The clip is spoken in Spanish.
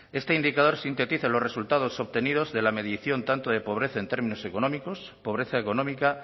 este indicador sintetiza los resultados obtenidos de la medición tanto de pobreza en términos económicos pobreza económica